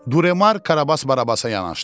Duremar Karabas Barabasa yanaşdı.